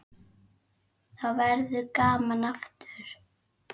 Þá verður gaman aftur.